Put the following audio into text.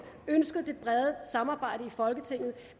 ønsket det brede samarbejde i folketinget